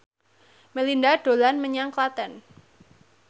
Melinda dolan menyang Klaten